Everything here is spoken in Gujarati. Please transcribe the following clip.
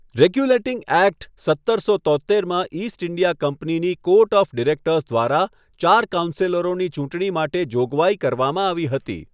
રેગ્યુલેટીંગ એક્ટ સત્તરસો તોત્તેરમાં ઈસ્ટ ઈન્ડિયા કંપનીની કોર્ટ ઓફ ડિરેક્ટર્સ દ્વારા ચાર કાઉન્સેલરોની ચૂંટણી માટે જોગવાઈ કરવામાં આવી હતી.